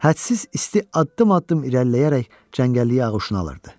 Hədsiz isti addım-addım irəliləyərək cəngəlliyi ağuşuna alırdı.